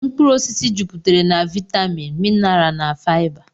Mkpụrụ osisi juputere na vitaminu, minarl na fiba.